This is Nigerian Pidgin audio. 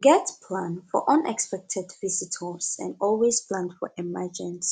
get plan for unexpected visitors and always plan for emergency